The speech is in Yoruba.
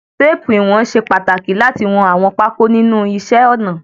Téèpù iwọn ṣe pàtàkì láti wọn àwọn pákó nínú iṣẹ́ ọnà.